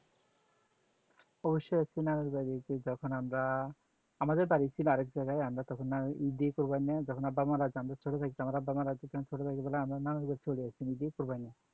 অবশই আছি নান্নুর বাড়ি যায় যখন আমরা আমাদের বাড়ি ছিল আরেক জায়গায় আমরা তখন ঈদে কুরবানীতে যখন আব্বা মারা যান ছোট থাকতে আব্বা মারা যান তখন আমরা ছোট ছোট পোলা তখন মামার বাড়ি চলে এসছি ঈদে কুরবানীতে